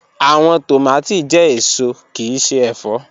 Awọn tomati jẹ eso kii ṣe ẹfọ